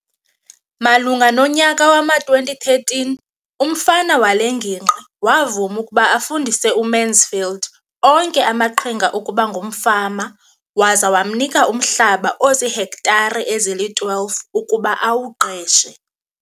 Malunga nonyaka wama-2013, umfama wale ngingqi wavuma ukuba afundise uMansfield onke amaqhinga okuba ngumfama waza wamnika umhlaba ozihektare ezili-12 ukuba awuqeshe.